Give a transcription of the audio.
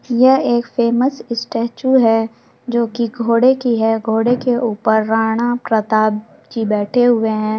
यह एक famous statue है जो की एक घोड़े की है घोड़े के ऊपर राणा प्रताप जी बैठे हुए हैं।